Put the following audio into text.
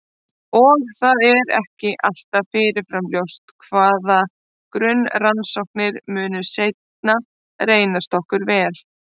Og það er ekki alltaf fyrirfram ljóst hvaða grunnrannsóknir munu seinna reynast okkur vel.